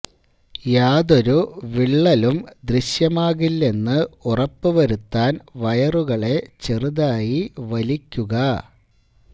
യാതൊരു വിള്ളലും ദൃശ്യമാകില്ലെന്ന് ഉറപ്പ് വരുത്താൻ വയറുകളെ ചെറുതായി വലിക്കുക